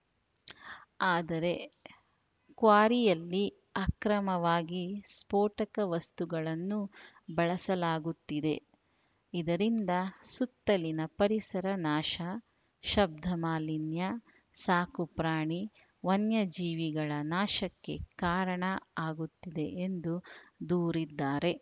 ಆದರೆ ಕ್ವಾರಿಯಲ್ಲಿ ಅಕ್ರಮವಾಗಿ ಸ್ಫೋಟಕ ವಸ್ತುಗಳನ್ನು ಬಳಸಲಾಗುತ್ತಿದೆ ಇದರಿಂದ ಸುತ್ತಲಿನ ಪರಿಸರ ನಾಶ ಶಬ್ದ ಮಾಲಿನ್ಯ ಸಾಕು ಪ್ರಾಣಿ ವನ್ಯಜೀವಿಗಳ ನಾಶಕ್ಕೆ ಕಾರಣ ಆಗುತ್ತಿದೆ ಎಂದು ದೂರಿದ್ದಾರೆ